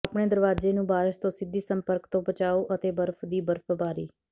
ਆਪਣੇ ਦਰਵਾਜ਼ੇ ਨੂੰ ਬਾਰਸ਼ ਤੋਂ ਸਿੱਧੀ ਸੰਪਰਕ ਤੋਂ ਬਚਾਓ ਅਤੇ ਬਰਫ਼ ਦੀ ਬਰਫ਼ਬਾਰੀ